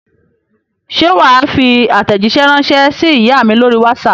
Ṣé wà á fi àtẹ̀jíṣẹ́ ránṣẹ́ sí ìyá mi lórí WhatsApp?